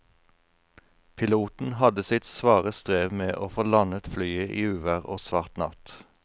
Piloten hadde sitt svare strev med å få landet flyet i uvær og svart natt.